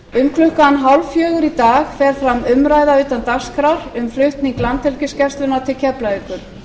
um klukkan hálffjögur í dag fer fram umræða utan dagskrár um flutning landhelgisgæslunnar til keflavíkur